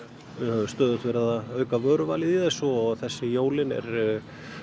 við höfum stöðugt verið að auka vöruvalið í þessu og þessi jólin er